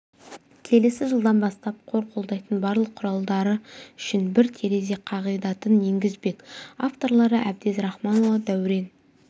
келесі жылдан бастап қор қолдайтын барлық құралдары үшін бір терезе қағидатын енгізбек авторлары әбдез рахманұлы дәурен